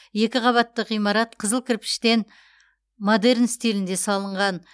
екі қабатты ғимарат қызыл кірпіштен модерн стилінде салынған